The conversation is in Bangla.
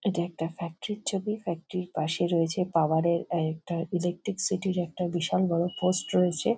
এটা একটা ফ্যাক্টরি - র ছবি ফ্যাক্টরি - র পাশেই রয়েছে পাওয়ার - এর একটা ইলেকট্রিসিটি - র একটা বিশাল বড়ো পোস্ট রয়েছে।